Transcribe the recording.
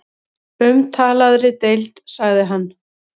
Umtalaðri deild sagði hann.